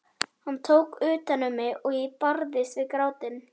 Hann tók utan um mig og ég barðist við grátinn.